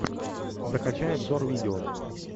закачай обзор видео